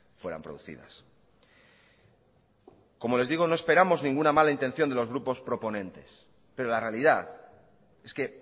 fueran producidas como les digo no esperamos ninguna mala intención de los grupos proponentes pero la realidad es que